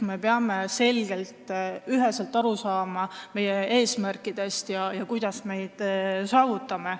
Me peame selgelt ja üheselt aru saama meie eesmärkidest ja sellest, kuidas me neid saavutame.